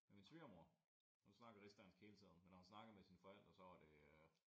Med min svigermor hun snakker rigsdansk hele tiden men når hun snakker med sine forældre så er det øh